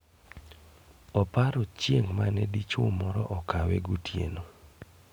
Oparo chieng' mane dichuo moro okawe gotieno